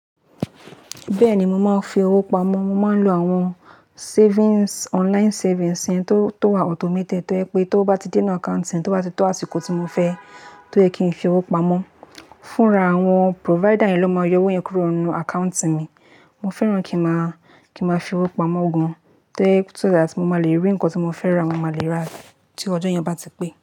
Bẹ́ẹ̀ni, mo máa ń fi owó pamọ́. Mo máa ń lo àwọn savings, online savings yẹn tó wà automated. To jẹ pé t'ówó bá ti dé inú account yẹn, tó bá ti tó àsìkò tí mo fẹ́, tó yẹ kí n fi owó pamọ́, fúnra àwọn provider yẹn ló máa yọ owó yẹn kúrò nínú account mi. Mo fẹ́ràn kí a máa fi owó pamọ́ gan-an. To jẹ pé so that mo máa lè rí nǹkan tí mo fẹ́ ra, mo máa lè ra rí tí ọjọ́ ìyan bá ti pé.